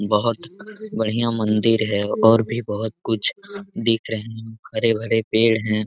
बहोत बढ़िया मंदिर है और भी बहुत कुछ दिख रहे है हरे भरे पेड़ है।